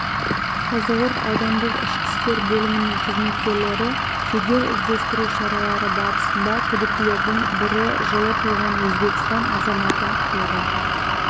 қазығұрт аудандық ішкі істер бөлімінің қызметкерлері жедел-іздестіру шаралары барысында күдіктілердің бірі жылы туған өзбекстан азаматын қолға